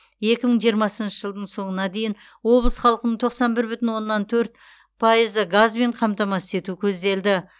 екі мың жиырмасыншы жылдың соңына дейін облыс халқының тоқсан бір бүтін оннан төрт пайызы газбен қамтамасыз ету көзделді